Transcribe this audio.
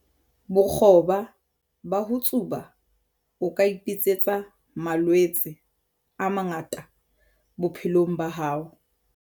Bokgoba ba ho tsuba- O ka ipitsetsa malwetse a mangata bophelong ba hao.